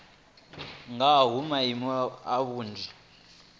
nga ha maimo na vhunzani